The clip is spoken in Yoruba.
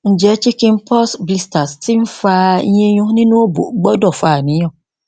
nje chicken pox blisters ti n fa yinyun ninu obo gbudo fa aniyan